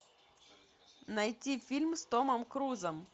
найти фильм с томом крузом